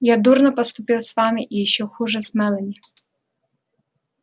я дурно поступил с вами и ещё хуже с мелани